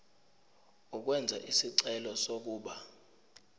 ukwenza isicelo sokuba